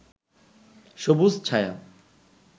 সবুজ ছায়া